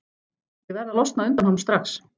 Ég verð að losna undan honum strax.